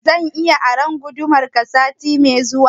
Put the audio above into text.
Zan iya aron gudumar ka sati mai zuwa?